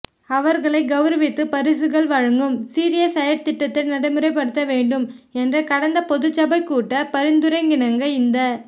அவர்களைக் கௌரவித்துப் பரிசில்கள் வழங்கும் சீரிய செயற்றிட்டத்தை நடைமுறைப்படுத்த வேண்டும் என்ற கடந்த பொதுச்சபைக்கூட்டப் பரிந்துரைக்கிணங்க இந்த